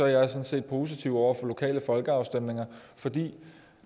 jeg sådan set positiv over for lokale folkeafstemninger fordi